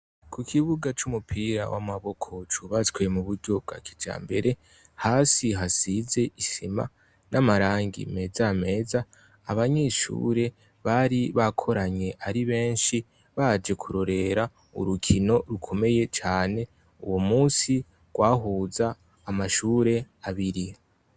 Ku kibuga c'umupira w'amaboko cubatswe mu buryo bwa kijambere. hasi hasize isima n'amarangi meza meza abanyeshure bari bakoranye ari benshi baje kurorera urukino rukomeye cyane uwo munsi rwahuza amashure abiri.